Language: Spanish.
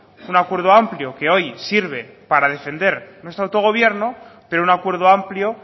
es un acuerdo amplio que hoy sirve para defender nuestro autogobierno pero un acuerdo amplio